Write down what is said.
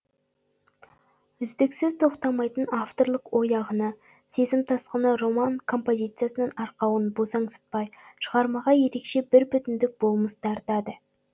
үздіксіз тоқтамайтын авторлық ой ағыны сезім тасқыны роман композициясының арқауын босаңсытпай шығармаға ерекше бір бүтіндік болмыс дарытады